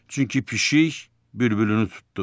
Çünki pişik bülbülünü tutdu.